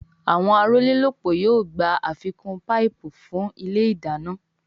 Àwọn arólélópòó yóò gbà àfikún paipu fún ilé ìdáná